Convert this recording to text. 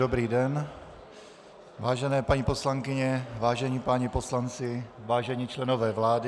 Dobrý den, vážené paní poslankyně, vážení páni poslanci, vážení členové vlády.